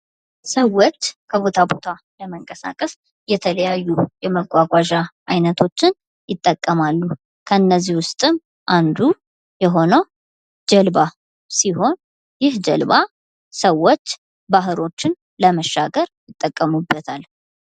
ሰዎች ከቦታ ቦታ ለመንቀሳቀስ የተለያዩ የመጓጓዣ አይነቶችን ይጠቀማሉ ።ከነዚህ ውስጥም አንዱ የሆነው ጀልባ ሲሆን ይህ ጀልባ ሰዎች ባህሮችን ለመሻገር ይጠቀሙበታል።